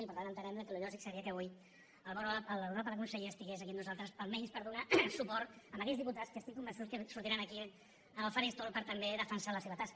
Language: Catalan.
i per tant entenem que el lògic seria que avui l’honorable conseller fos aquí amb nosaltres almenys per donar suport a aquells diputats que estic convençut que sortiran aquí en el faristol per també defensar la seva tasca